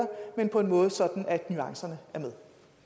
men på en måde så nuancerne er med